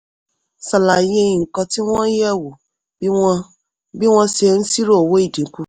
ṣàlàyé nǹkan tí wọ́n yẹ̀ wò bí wọ́n bí wọ́n ṣe ń ṣírò owó ìdínkù.